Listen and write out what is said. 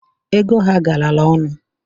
Ego ha garara ọnụ,